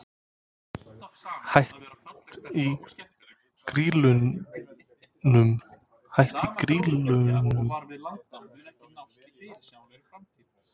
Hætt í Grýlunum?